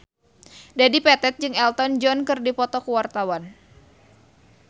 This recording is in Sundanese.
Dedi Petet jeung Elton John keur dipoto ku wartawan